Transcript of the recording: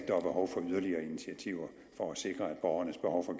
behov for yderligere initiativer for at sikre at borgernes behov for